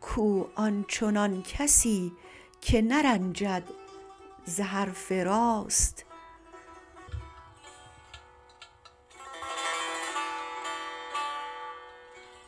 کو آنچنان کسی که نرنجد ز حرف راست